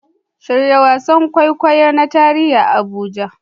Shirya wasan kwaikwayo na tarihi a Abuja